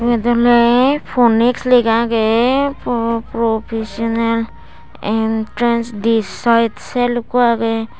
ibet ole phonix lega agey professional entrance did side sel ekku agey.